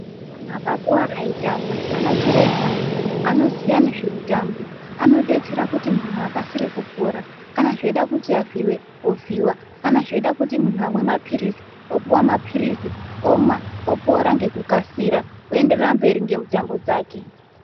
Munhu akakuwara veitamba an chiremba anoziya ngezvemutambo anodetsera kuti muntu akasire kupora kana zveida kuti avhiiwe ovhiwa , kana zveida kuti muntu amwe maphirizi opuwa maphirizi omwa opora ngekukasira oenderera mberi ngemutambo dzake.